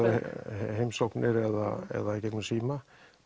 heimsóknir eða eða í gegnum síma